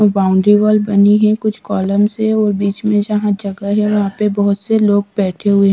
boundary wall बनी है कुछ कॉलम्स हैं और बीच में जहां जगह है वहां पे बहोत से लोग बैठे हुए--